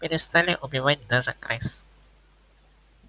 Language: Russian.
перестали убивать даже крыс